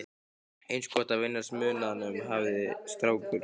Eins gott að venjast munaðinum, hafði strákur